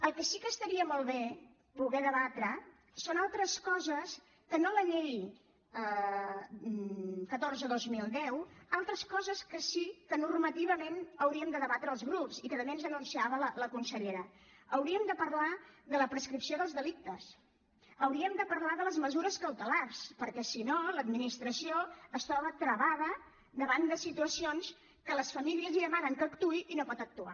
el que sí que estaria molt bé poder debatre són altres coses que no la llei catorze dos mil deu altres coses que sí que normativament hauríem de debatre els grups i que també ens anunciava la consellera hauríem de parlar de la prescripció dels delictes hauríem de parlar de les mesures cautelars perquè si no l’administració es troba travada davant de situacions que les famílies li demanen que actuï i no pot actuar